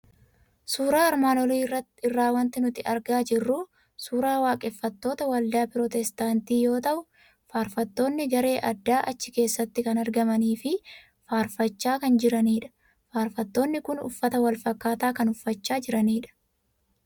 Suuraa armaan olii irraa waanti nuti argaa jirru suuraa waaqeffattoota waldaa Pirootestaantii yoo ta'u, faarfattonni garee addaa achi keessatti kan argamanii fi faarfachaa kan jiranidha. Faarfattoonni kun uffata wal fakkaataa kan uffachaa jiranidha.